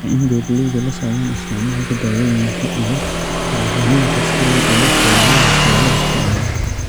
Waa in beeralaydu la socdaan isticmaalka dawooyinka iyo bacriminta si ay uga fogaadaan waxyeelada xoolaha.